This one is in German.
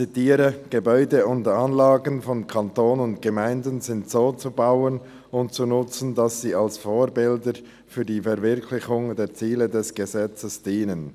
Ich zitiere: «Gebäude und Anlagen von Kanton und Gemeinden sind so zu bauen und zu nutzen, dass sie als Vorbilder für die Verwirklichung der Ziele dieses Gesetzes dienen.»